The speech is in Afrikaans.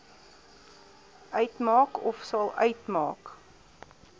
uitmaak ofsal uitmaak